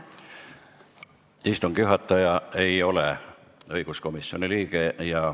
Istungi juhataja ei ole õiguskomisjoni liige.